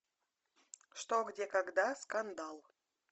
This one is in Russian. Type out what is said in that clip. что где когда скандал